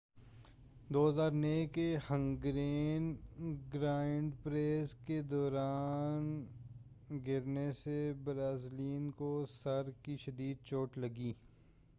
2009 کے Hungarian grand prix کے دوران گرنے سے برازیلین کو سر کی شدید چوٹ لگی